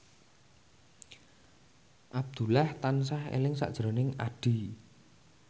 Abdullah tansah eling sakjroning Addie